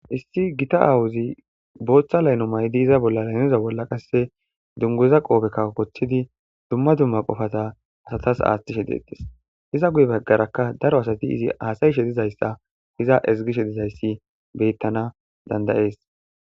issi gita aawuzi booththa layno maydi iza bolla laynoza bolla qasse dunguza qoobe kawkocthidi dumma dumma qofata asatas aaththishe deetes iza guye baggaraka daro asati izi haasayshe dizayssa iza ezgishe dizayssi beyttana dandayees